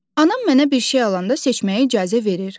Anam mənə bir şey alanda seçməyə icazə verir.